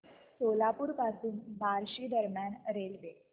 सोलापूर पासून बार्शी दरम्यान रेल्वे